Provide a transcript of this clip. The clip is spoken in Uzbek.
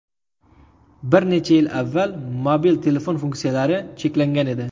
Bir necha yil avval mobil telefon funksiyalari cheklangan edi.